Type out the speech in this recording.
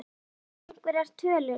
Jóhann: Einhverjar tölur?